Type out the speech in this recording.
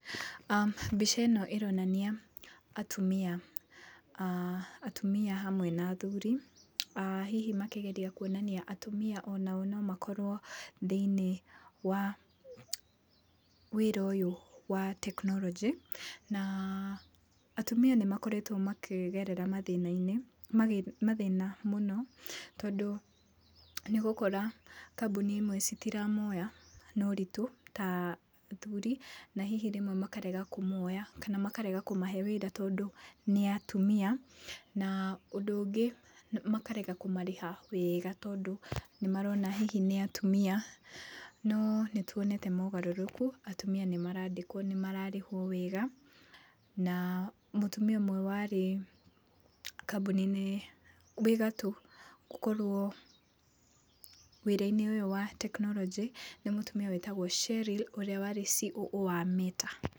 Mbica ĩno ĩronania atumia, aah atumia hamwe na athuri, hihi makĩgeria kuonania atumia onao no makorwo thĩiniĩ wa wĩra ũyũ wa tekinoronjĩ, na atumia nĩ makoretwo makĩgerera mathĩna-inĩ, mathĩna mũno, tondũ nĩ ũgokora kambuni imwe citiramoya na ũritũ ta athuri, na hihi rĩmwe makarega kũmoya kana makarega kũmahe wĩra tondũ nĩ atumia na ũndũ ũngĩ makarega kũmarĩha wega, tondũ nĩmarona hihi nĩ atumia, no nĩ tuonete mogarũrũku, atumia nĩmarandĩkwo, nĩmararĩhwo wega, na mũtumia ũmwe warĩ kambuni-inĩ, wĩ gatũũ gũkorwo wĩra-inĩ ũyũ wa tekinoronjĩ nĩ mũtumia wĩtagwo Sherril ũrĩa warĩ CEO wa Meta.